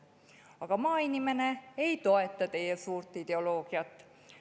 Aga maainimene ei toeta teie suurt ideoloogiat.